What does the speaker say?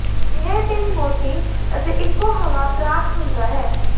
ਇਹ ਪੀਣ ਮੋਟੀ ਅਤੇ ਇੱਕੋ ਹਵਾ ਪ੍ਰਾਪਤ ਹੁੰਦਾ ਹੈ